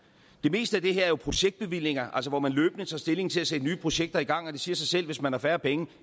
meste af det her er jo projektbevillinger altså hvor man løbende tager stilling til at sætte nye projekter i gang det siger sig selv at hvis man har færre penge